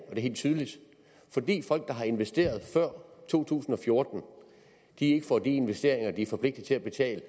er helt tydeligt fordi folk der har investeret før to tusind og fjorten ikke får de investeringer de er forpligtet til at betale